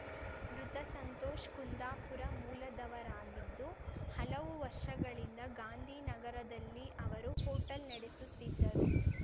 ಮೃತ ಸಂತೋಷ್‌ ಕುಂದಾಪುರ ಮೂಲದವರಾಗಿದ್ದು ಹಲವು ವರ್ಷಗಳಿಂದ ಗಾಂಧಿನಗರದಲ್ಲಿ ಅವರು ಹೋಟೆಲ್‌ ನಡೆಸುತ್ತಿದ್ದರು